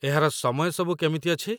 ଏହାର ସମୟ ସବୁ କେମିତି ଅଛି?